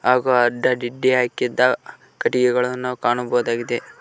ಹಾಗು ಅಡ್ಡದಿಡ್ಡಿ ಹಾಕಿದ್ದ ಕಟ್ಟಿಗೆಗಳನ್ನು ಕಾಣಬಹುದಾಗಿದೆ.